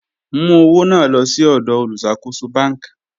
Mú ọwọ̀ náà lọ̀ sí ọdọ̀ olúṣàkóṣọ̀ bánk.